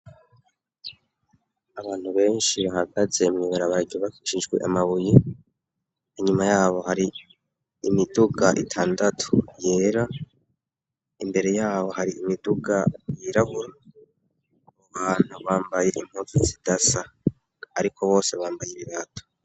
Abantu benshi bahagaze mwibarabarya baicijwe amabuyi inyuma yabo hari imiduga itandatu yera imbere yabo hari imiduga yiragura bubantu bambaye impuzi zida sa, ariko bose bambaye ibibata.